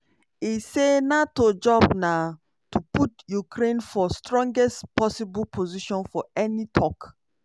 e say nato job na "to put ukraine for strongest possible position for any tok".